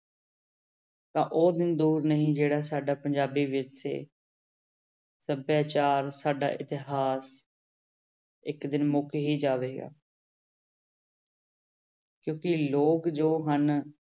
ਤਾਂ ਉਹ ਦਿਨ ਦੂਰ ਨਹੀਂ ਜਿਹੜਾ ਸਾਡਾ ਪੰਜਾਬੀ ਵਿਰਸੇ ਸਭਿਆਚਾਰ ਸਾਡਾ ਇਤਿਹਾਸ ਇੱਕ ਦਿਨ ਮੁੱਕ ਹੀ ਜਾਵੇਗਾ ਕਿਉਂਕਿ ਲੋਕ ਜੋ ਹਨ